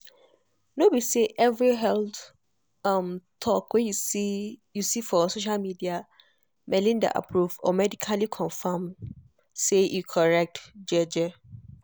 no be every health um talk wey you see you see for social media melinda approve or medically confirm say e correct um